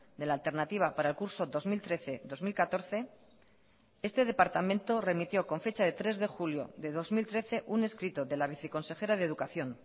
de la alternativa para el curso dos mil trece dos mil catorce este departamento remitió con fecha de tres de julio de dos mil trece un escrito de la viceconsejera de educación